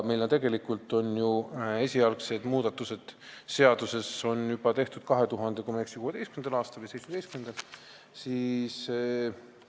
Meil on ju esialgsed muudatused seadusesse tehtud juba 2016. või 2017. aastal, kui ma ei eksi.